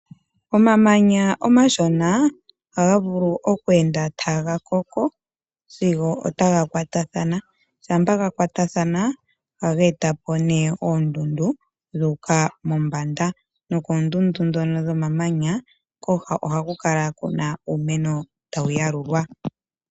Omamanya omashona ohaga vulu oku enda taga koko sigo otaga kwatathana, shampa ga kwatathana ohaga eta po ne oondundu dhu uka mombanda. Nokondundu dhono dhomamanya koha ohaku kala ku na uumeno tawu yalulwa.